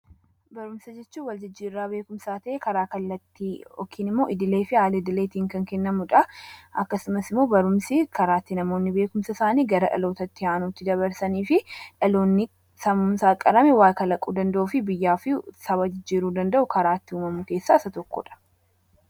barumsa jechuun wal jijjiirraa beekumsaa ta'ee karaa kallattii yookiin immoo idilee fi aalidileetiin kan kennamuudha akkasumas immoo barumsi karaa ittti namoonni beekumsa isaanii gara dhaloota itti aanuutti dabarsanii fi dhaloonni sammuunsaa qarame waa kalaquu danda'u fi biyyaafi saba jijjiiruu danda'u karaatti uumamu keessaa isa tokkodha